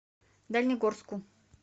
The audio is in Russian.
дальнегорску